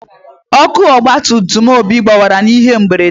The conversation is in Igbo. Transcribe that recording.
Ọkụ ọgba tum tum Obi gbawara n'ihe mberede.